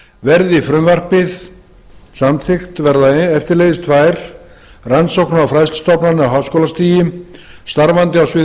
verði frumvarpið samþykkt verða eftirleiðis tvær rannsóknar og fræðslustofnanir á háskólastigi starfandi á sviði